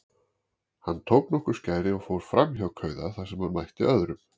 Hann tók nokkur skæri og fór framhjá kauða þar sem hann mætti öðrum.